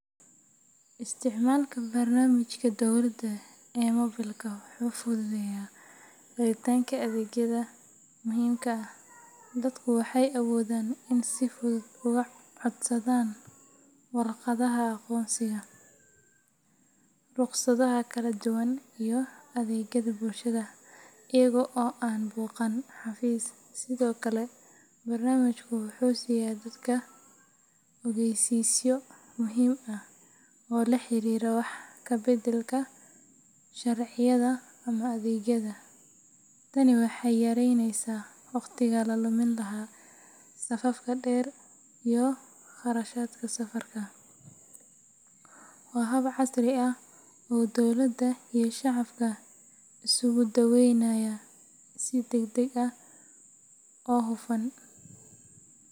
Isticmaalka barnaamijka dowladda ee moobilka wuxuu fududeeyaa helitaanka adeegyada muhiimka ah. Dadku waxay awoodaan inay si fudud uga codsadaan warqadaha aqoonsiga, rukhsadaha kala duwan, iyo adeegyada bulshada iyaga oo aan booqan xafiis. Sidoo kale, barnaamijku wuxuu siiya dadka ogeysiisyo muhiim ah oo la xiriira wax ka beddelka sharciyada ama adeegyada. Tani waxay yareynaysaa wakhtiga la lumin lahaa safafka dheer iyo kharashaadka safarka. Waa hab casri ah oo dowladda iyo shacabka isugu dhoweynaya si degdeg ah oo hufan.